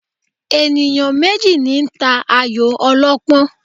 Ènìyàn méjì ní ta ayò ọlọ́pọ́n